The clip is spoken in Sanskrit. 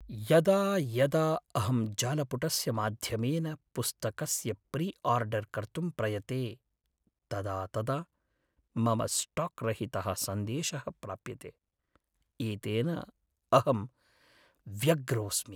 यदा यदा अहं जालपुटस्य माध्यमेन पुस्तकस्य प्रिआर्डर् कर्तुं प्रयते, तदा तदा मम स्टाक् रहितः सन्देशः प्राप्यते, एतेन अहं व्यग्रोस्मि।